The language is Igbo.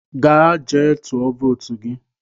Gaa jee tụọ votu gị!